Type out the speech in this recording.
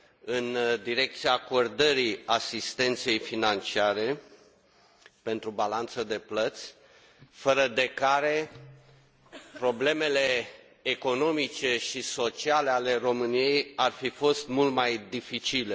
în direcția acordării asistenței financiare pentru balanța de plăți, fără de care problemele economice și sociale ale României ar fi fost mult mai dificile.